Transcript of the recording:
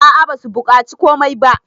a a basu bukaci komai ba